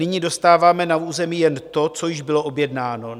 Nyní dostáváme na území jen to, co již bylo objednáno.